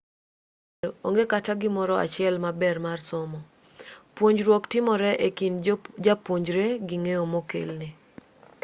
kuom adier onge kata gimoro achiel maber mar somo puonjruok timore e kind japuonjre gi ng'eyo mokelne